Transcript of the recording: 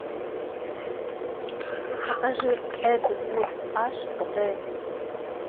покажи эдвуд аш дэ